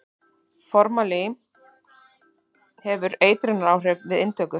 Formalín hefur eitrunaráhrif við inntöku.